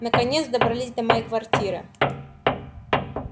наконец добрались до моей квартиры